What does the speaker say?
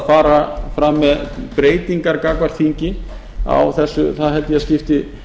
fara fram með breytingar gagnvart þingi held ég að skipti